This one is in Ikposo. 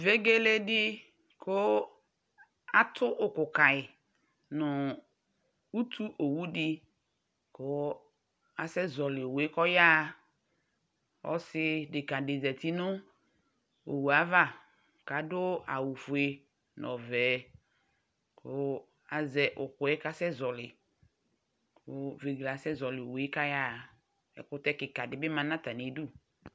Vegele di ku atu ku kayi nu utu owu di ku asɛzɔli owu yaɣa ɔsi kika di zati nu owue ava kadu ɔwɛ fue nu ɔvɛ ku azɛ ukpɛ kasɛzɔli vegele asɛzɔli owue ku ayaɣa ɛkutɛ kikadi bi ma nu atamidu